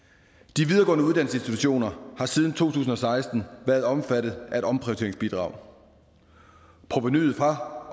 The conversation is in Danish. de videregående uddannelsesinstitutioner har siden to tusind og seksten været omfattet af et omprioriteringsbidrag provenuet fra